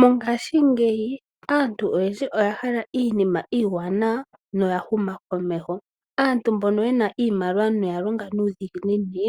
Mongashingeyi aantu oyendji oyahala iinima iiwanawa yahuma komeho. Aantu mbono yena iimaliwa yalonga nuudhiginini